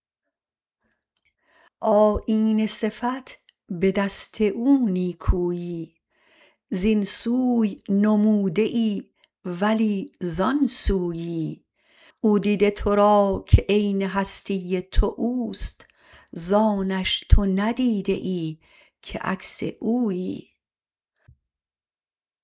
آیینه صفت به دست او نیکویی زین سوی نموده ای ولی زان سویی او دیده ترا که عین هستی تو اوست زانش تو ندیده ای که عکس اویی